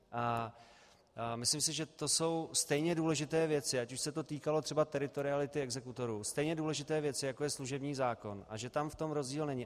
Myslím si, že to jsou stejně důležité věci, ať už se to týkalo třeba teritoriality exekutorů, stejně důležité věci, jako je služební zákon, a že tam v tom rozdíl není.